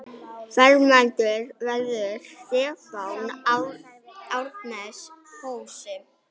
Fermdur verður Stefán Ernest Hosi.